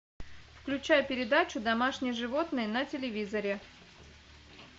включай передачу домашние животные на телевизоре